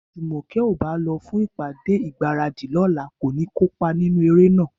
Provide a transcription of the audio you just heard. Bí Jùmọ̀kẹ́ ò bá lọ fún ìpàdé ìgbáradì lọ́la, kò ní kópa nínú eré náà